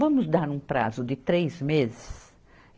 Vamos dar um prazo de três meses?